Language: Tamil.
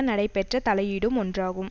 நடைபெற்ற தலையீடும் ஒன்றாகும்